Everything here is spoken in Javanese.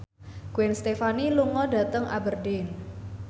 Gwen Stefani lunga dhateng Aberdeen